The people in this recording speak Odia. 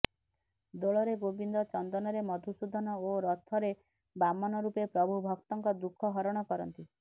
ଦୋଳରେ ଗୋବିନ୍ଦ ଚନ୍ଦନରେ ମଧୁସୂଦନ ଓ ରଥରେ ବାମନ ରୂପେ ପ୍ରଭୁ ଭକ୍ତଙ୍କ ଦୁଃଖ ହରଣ କରନ୍ତି